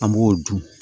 An b'o dun